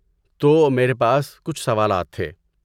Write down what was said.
تو میرے پاس کچھ سوالات تھے۔